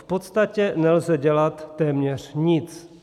V podstatě nelze dělat téměř nic.